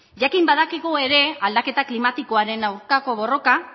jakin badakigu ere aldaketa klimatikoaren aurkako borroka